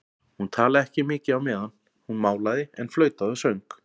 Hún talaði ekki mikið á meðan hún málaði en flautaði og söng.